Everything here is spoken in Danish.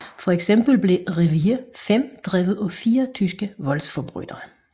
For eksempel blev Revier 5 drevet af fire tyske voldsforbrydere